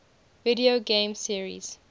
video game series